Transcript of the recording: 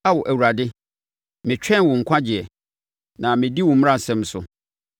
Ao Awurade, metwɛn wo nkwagyeɛ, na medi wo mmaransɛm so.